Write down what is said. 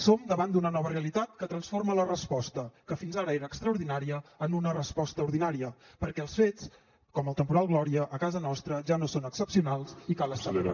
som davant d’una nova realitat que transforma la resposta que fins ara era extraordinària en una resposta ordinària perquè els fets com el temporal gloria a casa nostra ja no són excepcionals i cal estar